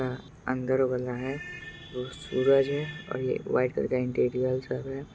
हैअंदर वला है वो सूरज है और ये व्हाइट कलर का इंटीरियर सब है।